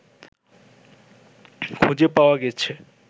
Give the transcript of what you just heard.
খুঁজে পাওয়া গেছে